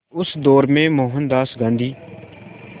उस दौर में मोहनदास गांधी